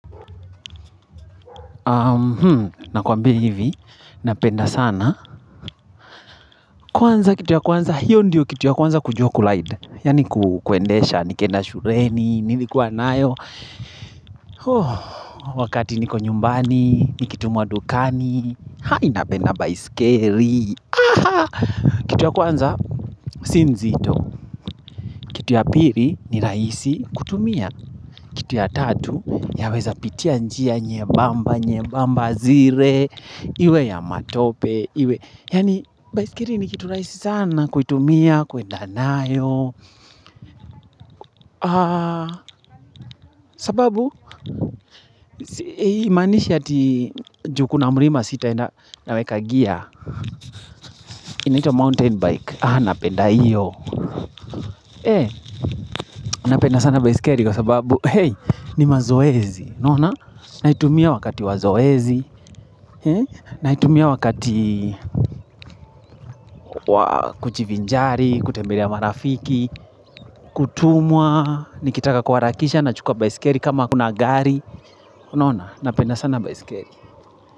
Nakwambia hivi, napenda sana. Kwanza kitu ya kwanza, hiyo ndiyo kitu ya kwanza kujua kulide. Yaani ku kwendesha, nikienda shureni, nilikuwa nayo. Wakati niko nyumbani, nikitumwa dukani, hai napenda baiskeli. Kitu ya kwanza, si nzito. Kitu ya piri ni rahisi kutumia. Kitu ya tatu yaweza pitia njia nyebamba, nyebamba zire, iwe ya matope iwe, yaani baiskeli ni kitu rahisi sana kuitumia kuenda nayo sababu imaanishi ati juu kuna mlima sitaenda naweka gear inaitwa mountain bike, ah napenda iyo eh, napenda sana baiskeli kwa sababu, hey, ni mazoezi naona, naitumia wakati wa zoezi naitumia wakati kujivinjari, kutembelea marafiki, kutumwa Nikitaka kuharakisha nachukua baiskeri kama hakuna gari Unaona, napenda sana baiskeli.